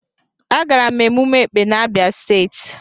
Agara m emume Ekpè n'Abia state.